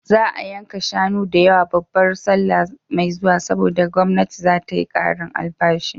Za a yanka shanu da yawa babar sallah mai zuwa, saboda gwamnati za ta yi ƙarin albashi.